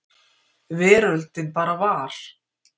Veröldin bara var.